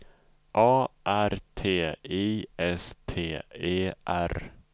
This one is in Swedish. A R T I S T E R